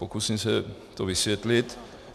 Pokusím se to vysvětlit.